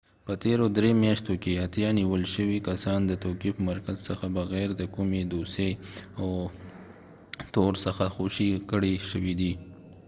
په تیرو درې میاشتو کښې اتیا نیول شوي کسان د توقیف مرکز څخه بغیر د کومي دوسیې او تور څخه خوشي کړي شوي دي